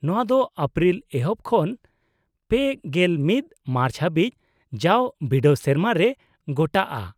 -ᱱᱚᱶᱟ ᱫᱚ ᱮᱯᱨᱤᱞ ᱮᱦᱚᱯ ᱠᱷᱚᱱ ᱓᱑ ᱢᱟᱨᱪ ᱫᱷᱟᱹᱵᱤᱡ ᱡᱟᱣ ᱵᱤᱰᱟᱹᱣ ᱥᱮᱨᱢᱟ ᱨᱮ ᱜᱚᱴᱟᱜᱼᱟ ᱾